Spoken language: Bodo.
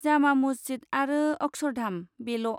जामा मस्जिद आरो अक्षरधाम, बेल'।